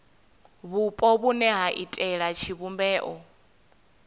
vhupo vhune ha iitela tshivhumbeo